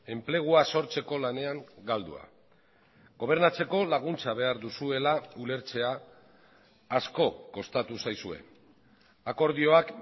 enplegua sortzeko lanean galdua gobernatzeko laguntza behar duzuela ulertzea asko kostatu zaizue akordioak